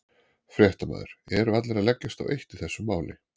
Fréttamaður: Eru allir að leggjast á eitt í þessu máli?